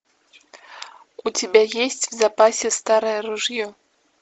у тебя есть в запасе старое ружье